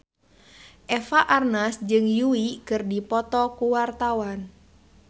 Eva Arnaz jeung Yui keur dipoto ku wartawan